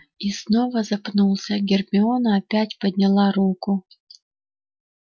и снова запнулся гермиона опять подняла руку